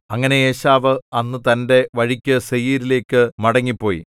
അങ്ങനെ ഏശാവ് അന്ന് തന്റെ വഴിക്കു സേയീരിലേക്കു മടങ്ങിപ്പോയി